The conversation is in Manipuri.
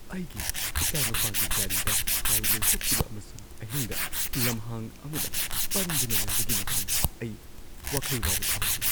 ꯑꯩꯒꯤ ꯏꯆꯥꯅꯨꯄꯥꯒꯤ ꯒꯥꯔꯤꯗ ꯊꯥꯎ ꯂꯣꯏꯊꯣꯛꯈꯤꯕ ꯑꯃꯁꯨꯡ ꯑꯍꯤꯡꯗ ꯂꯝꯍꯥꯡ ꯑꯃꯗ ꯄꯟꯗꯨꯅ ꯂꯩꯕꯒꯤ ꯃꯇꯥꯡꯗ ꯑꯩ ꯋꯥꯈꯜ ꯋꯥꯕ ꯐꯥꯎꯈꯤ꯫